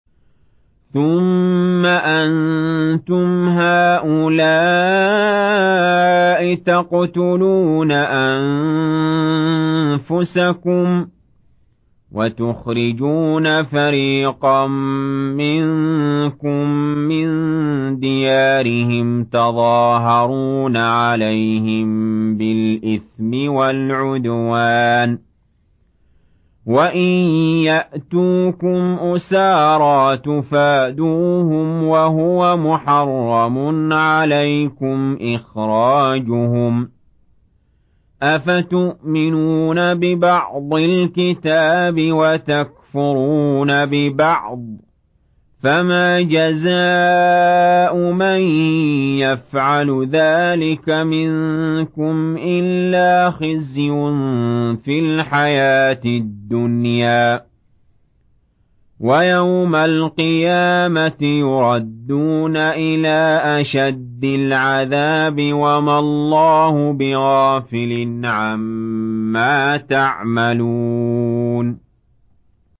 ثُمَّ أَنتُمْ هَٰؤُلَاءِ تَقْتُلُونَ أَنفُسَكُمْ وَتُخْرِجُونَ فَرِيقًا مِّنكُم مِّن دِيَارِهِمْ تَظَاهَرُونَ عَلَيْهِم بِالْإِثْمِ وَالْعُدْوَانِ وَإِن يَأْتُوكُمْ أُسَارَىٰ تُفَادُوهُمْ وَهُوَ مُحَرَّمٌ عَلَيْكُمْ إِخْرَاجُهُمْ ۚ أَفَتُؤْمِنُونَ بِبَعْضِ الْكِتَابِ وَتَكْفُرُونَ بِبَعْضٍ ۚ فَمَا جَزَاءُ مَن يَفْعَلُ ذَٰلِكَ مِنكُمْ إِلَّا خِزْيٌ فِي الْحَيَاةِ الدُّنْيَا ۖ وَيَوْمَ الْقِيَامَةِ يُرَدُّونَ إِلَىٰ أَشَدِّ الْعَذَابِ ۗ وَمَا اللَّهُ بِغَافِلٍ عَمَّا تَعْمَلُونَ